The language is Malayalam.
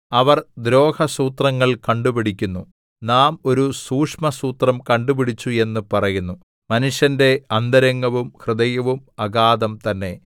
അവർ ദ്രോഹസൂത്രങ്ങൾ കണ്ടുപിടിക്കുന്നു നാം ഒരു സൂക്ഷ്മസൂത്രം കണ്ടുപിടിച്ചു എന്ന് പറയുന്നു മനുഷ്യന്റെ അന്തരംഗവും ഹൃദയവും അഗാധം തന്നെ